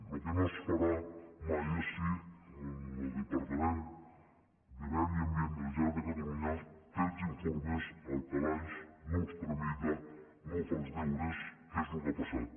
el que no es farà mai és si el departament de medi ambient de la generalitat de catalunya té els informes al calaix no els tramita i no fa els deures que és el que ha passat